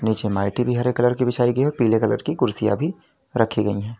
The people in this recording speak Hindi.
नीचे माइटी भी हरे कलर की बिछाई गई है पीले कलर की कुर्सियां भी रखी गई हैं।